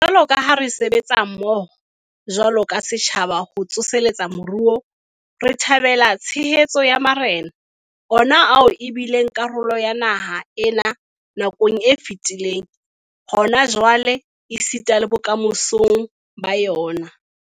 Jwalo ka ha re sebetsa mmoho jwalo ka setjhaba ho tsoseletsa moruo, re thabela tshehetso ya marena, ona ao e bileng karolo ya naha ena nakong e fetileng, hona jwale esitana le bokamosong ba yona.